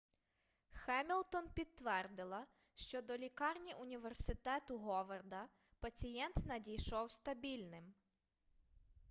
хемілтон підтвердила що до лікарні університету говарда пацієнт надійшов стабільним